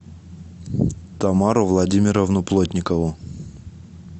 тамару владимировну плотникову